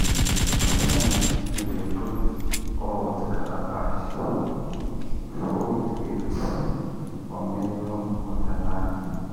sometimes we dey put old calabash full with gifts for middle of the land.